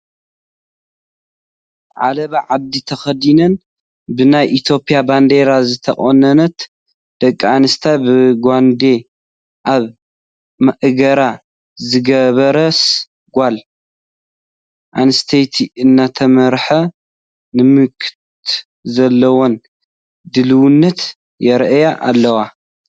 ዓለባ ዓዲ ተኸዲነን ብናይ ኢትዮጵያ ባንዴራ ዝተቐነታ ደቂ ኣንስትዮ ብጓንዴ ኣብ ማእገራ ዝገበረስ ጓል ኣነስተይቲ እናተመርሓ ንምምካት ዘለወን ድልውነት የርእያ ኣለዋ፡፡